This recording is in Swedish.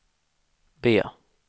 B